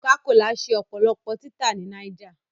Cocacola ṣe ọpọlọpọ awọn tita ni Niger